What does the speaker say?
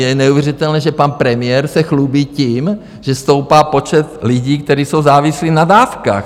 Je neuvěřitelné, že pan premiér se chlubí tím, že stoupá počet lidí, kteří jsou závislí na dávkách.